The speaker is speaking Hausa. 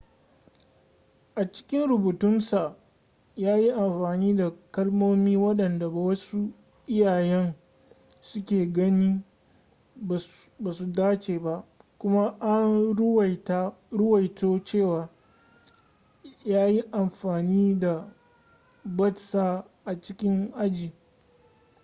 a cikin rubutunsa ya yi amfani da kalmomi waɗanda wasu iyayen suke ganin ba su dace ba kuma an ruwaito cewa ya yi amfani da batsa a cikin aji